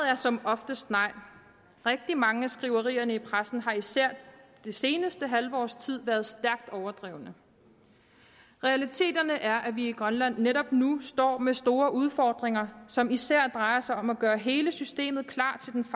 er som oftest nej rigtig mange af skriverierne i pressen har især det seneste halve års tid været stærkt overdrevne realiteterne er at vi i grønland netop nu står med store udfordringer som især drejer sig om at gøre hele systemet klar til den